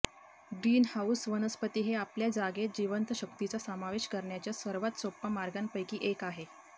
green house वनस्पती हे आपल्या जागेत जिवंत शक्तीचा समावेश करण्याच्या सर्वात सोपा मार्गांपैकी एक आहे